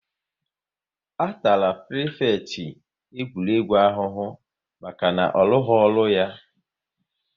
A tara prifekịtị egwuregwu ahụhụ maka na ọ rụghị ọrụ ya